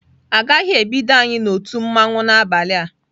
Agaghị ebido anyị na otu mmanwu n'abalị a..